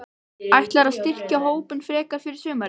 Ætlarðu að styrkja hópinn frekar fyrir sumarið?